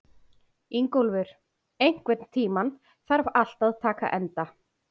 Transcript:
Ingólfur, einhvern tímann þarf allt að taka enda.